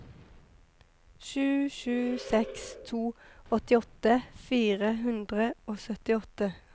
sju sju seks to åttiåtte fire hundre og syttiåtte